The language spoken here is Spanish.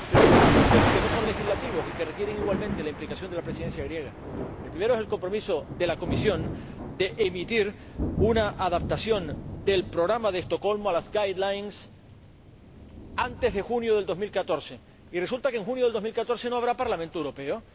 Pero hay dos asuntos que no son legislativos y que requieren igualmente la implicación de la Presidencia griega el primero es el compromiso de la Comisión de emitir una adaptación del Programa de Estocolmo a las guidelines antes de junio de 2014, y resulta que en junio de 2014 no habrá Parlamento Europeo.